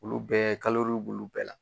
Olu bɛɛ b'olu bɛɛ la